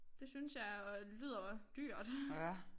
Det synes jeg jo lyder dyrt